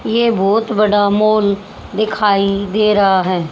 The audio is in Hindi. ये बहोत बड़ा मॉल दिखाई दे रहा है।